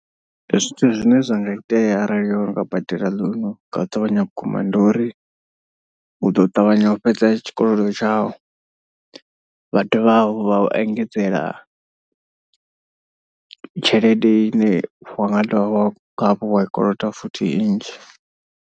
Zwithu zwine zwa nga itea arali o no nga badela loan nga u ṱavhanya vhukuma ndi uri. U ḓo ṱavhanya u fhedza tshikolodo tshau vha dovha hafhu vha u engedzela tshelede ine wa nga dovha hafhu wa koloda futhi i nnzhi.